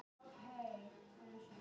Auk þess geta ofskynjanir átt sér stað.